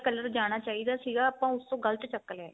color ਜਾਣਾ ਚਾਹੀਦਾ ਸੀਗਾ ਆਪਾਂ ਉਸ ਤੋਂ ਗਲਤ ਚੱਕ ਲਿਆ